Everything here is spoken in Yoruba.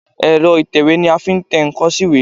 Èrọ ìtẹ̀wé ni a fi ń tẹ ǹkan sí ìwé.